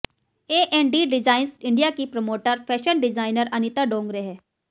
AND designs India की promoter fashion designer Anita Dongre हैं